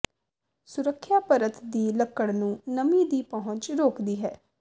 ਸੁਰੱਖਿਆ ਪਰਤ ਦੀ ਲੱਕੜ ਨੂੰ ਨਮੀ ਦੀ ਪਹੁੰਚ ਰੋਕਦੀ ਹੈ